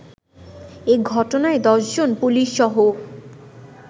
এ ঘটনায় দশজন পুলিশসহ